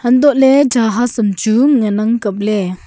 antoley jahas am chu nganang kapley.